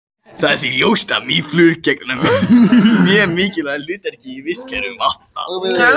Það er því ljóst að mýflugur gegna mjög mikilvægu hlutverki í vistkerfum vatna.